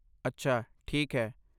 ਅੱਛਾ! ਠੀਕ ਹੈ।